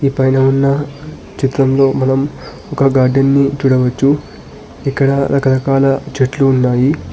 ఈ పైన ఉన్న చిత్రంలో మనం ఒక గార్డెన్ ని చూడవచ్చు ఇక్కడ రకరకాల చెట్లు ఉన్నాయి.